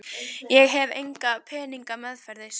Ég hef enga peninga meðferðis.